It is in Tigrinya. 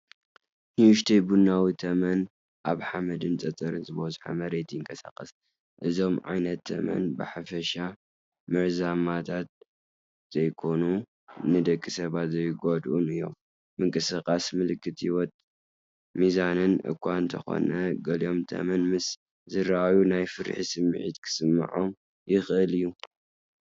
ንእሽተይ ቡናዊ ተመን ኣብ ሓመድን ጸጸር ዝበዝሖን መሬት ይንቀሳቐስ። እዞም ዓይነት ተመን ብሓፈሻ መርዛማት ዘይኮኑን ንደቂ ሰባት ዘይጎድኡን እዮም። ምንቅስቓስ ምልክት ህይወትን ሚዛንን እኳ እንተኾነ፡ ገሊኦም ተመን ምስ ዝረኣዩ ናይ ፍርሒ ስምዒት ክስምዖም ይኽእል እዩ።